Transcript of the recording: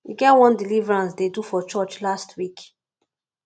e get one deliverance dey do for church last week